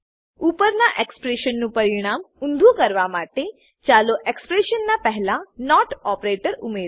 ઉપરના એક્સપ્રેશનનું પરિણામ ઊંધું કરવા માટે ચાલો એક્સપ્રેશન ના પહેલા નોટ ઓપરેટર ઉમેરો